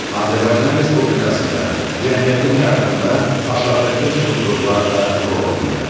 Azərbaycan Respublikasında cəmiyyətin həyatında aşağıdakı strukturlar da rol oynayır.